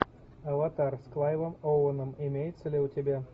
аватар с клайвом оуэном имеется ли у тебя